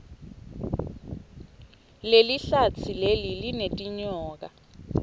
lelihlatsi leli linetinyoka